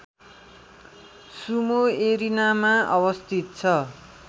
Sumo एरिनामा अवस्थित छ